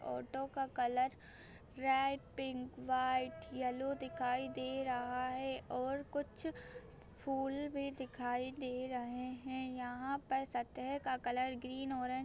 auto का colour red pink white yellow दिखाई दे रहा है और कुछ फुल भी दिखाई दे रहे है यहां पर सतह का कलर ग्रीन और--